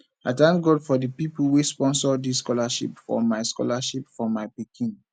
i thank god for the people wey sponsor dis scholarship for my scholarship for my pikin